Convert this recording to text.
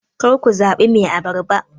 kar ku zaɓi Mai abarba